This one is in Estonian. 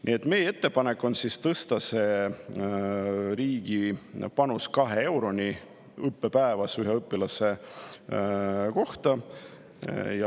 Nii et meie ettepanek on tõsta riigi panus kahe euroni õppepäevas ühe õpilase kohta.